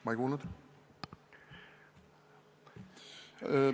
Ma ei kuulnud.